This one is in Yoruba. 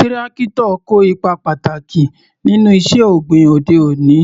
Tírákítọ̀ kó ipa pàtàkì nínú iṣẹ́ ọ̀gbìn òde òní,